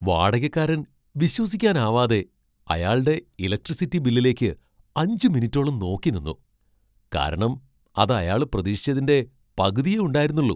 വാടകക്കാരൻ വിശ്വസിക്കാനാവാതെ അയാൾടെ ഇലക്ട്രിസിറ്റി ബില്ലിലേയ്ക്ക് അഞ്ച് മിനിറ്റോളം നോക്കി നിന്നു, കാരണം അത് അയാൾ പ്രതീക്ഷിച്ചതിന്റെ പകുതിയേ ഉണ്ടായിരുന്നുള്ളൂ.